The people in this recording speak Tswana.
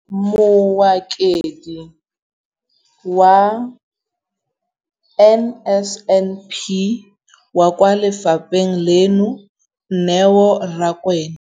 Mokaedi wa NSNP kwa lefapheng leno, Neo Rakwena,